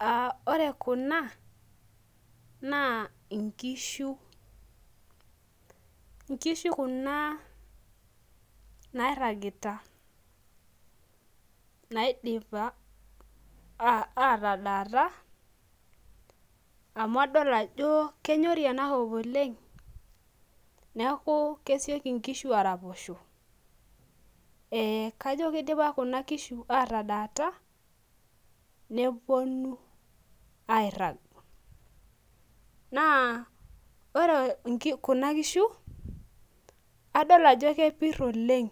Uh ore kuna naa inkishu inkishu kuna nairragita naidipa uh atadaata amu adol ajo kenyori enakop oleng neeku kesioki inkishu araposho eh kajo kidipa kuna kishu atadaata neponu airrag naa ore inki kuna kishu adol ajo kepirr oleng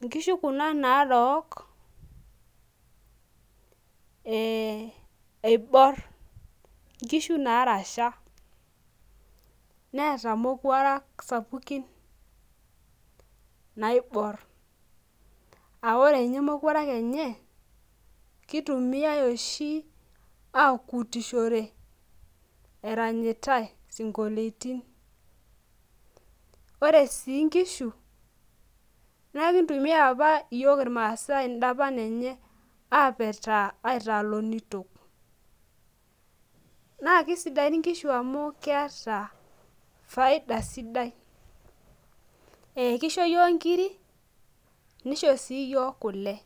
inkishu kuna narook eh eiborr inkishu narasha neeta imokuarak sapukin naiborr aore inye mokuarak enye kitumiae oshi akutishore eranyitae sinkolietin ore sii inkishu nenkitumia apa iyiok irmasae indapan enye apetaa aitaa lonitok naa kisidaini nkishu amu keeta faida sidai ekisho iyiok nkiri nisho sii iyiok kule.